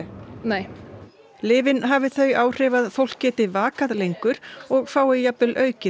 nei lyfin hafi þau áhrif að fólk geti vakað lengur og fái jafnvel aukið